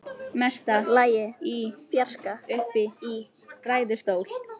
Mesta lagi í fjarska uppi í ræðustól.